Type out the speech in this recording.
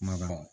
Ma kɔrɔ